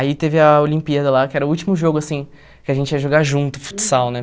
Aí teve a Olimpíada lá, que era o último jogo, assim, que a gente ia jogar junto, futsal, né?